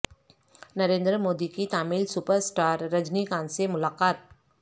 نریندر مودی کی Tamil super star Rajinikanth سے ملاقات